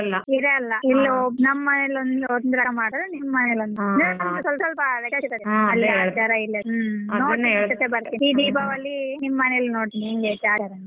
ಇರಲ್ಲ ಇಲ್ಲಿ ನಮ್ಮನೆಲ್ ಒಂದ್ ತರ ಮಾಡುದ್ರೆ ತರ ಸ್ವಲ್ಪ ಸ್ವಲ್ಪ ವ್ಯತ್ಯಾಸ ಈ ದೀಪಾವಳಿ ನಿಮ್ಮ ಮನೆಲ್ ನೋಡ್ತೀನಿ ಹೆಂಗೆ ಐತೆ ಆಚಾರ .